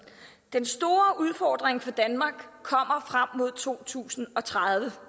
den store udfordring for danmark kommer frem mod to tusind og tredive